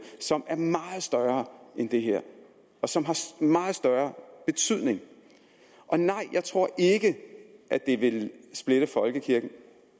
som er meget større end det her og som har meget større betydning jeg tror ikke at det vil splitte folkekirken